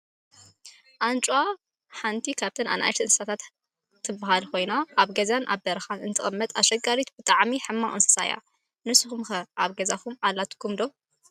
ኣንጭዋ ሓንቲ ካብ ንኣሽቱ እንስሳታት ሓንቲ ኮይና ኣብ በረካን ገዛን እትቅመጥ ኣሸጋሪት ብጣዕሚ ሕማቅ እንስሳ እያ። ንስኩም'ከ ኣብ ገዛኩም ኣላትኩም ዶ?